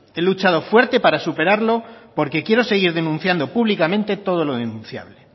he luchado fuerte para superarlo porque quiero seguir denunciando públicamente todo lo denunciable